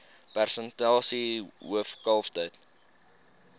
persentasie hoof kalftyd